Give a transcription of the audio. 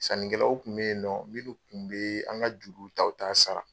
Sanikɛlaw tun bɛ yen minnu tun bɛ an ka juru ta u t'a sara.